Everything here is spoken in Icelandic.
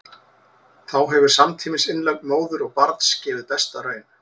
þá hefur samtímis innlögn móður og barns gefið besta raun